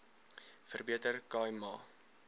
verbeter khai ma